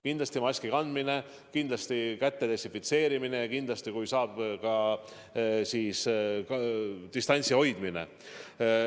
Kindlasti maski kandmine, kindlasti käte desinfitseerimine ja kindlasti, kui saab, ka distantsi hoidmine.